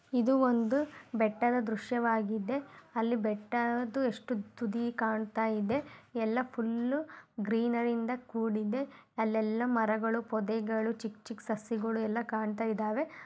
ಇದು ಒಂದು ಬೆಟ್ಟದ ದೃಶ್ಯವಾಗಿದೆ ಅಲ್ಲಿ ಬೆಟ್ಟದು ಎಷ್ಟು ತುದಿ ಕಾಣುತಯಿದೆ ಎಲ್ಲ ಫುಲ್ ಗ್ರೀನರಿಯಿಂದ ಕೂಡಿದೆ ಅಲ್ಲೆಲ್ಲ ಮರಗಳು ಪೊದೆಗಳು ಚಿಕ್ಕ ಚಿಕ್ಕ ಸಸಿಗಳು ಎಲ್ಲಾ ಕಾಣತ್ತಾ ಇದಾವೆ.